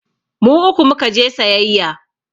Mu uku mu ka je sayayya.